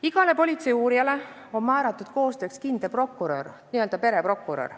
Igale politseiuurijale on koostööks määratud kindel prokurör, n-ö pereprokurör.